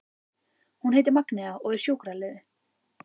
Hún heitir Magnea og er sjúkraliði.